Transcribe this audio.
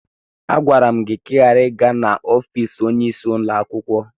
Agwara m gị ka ị ghara ị gaa n'ọfis onyeisi ụlọakwụkwọ!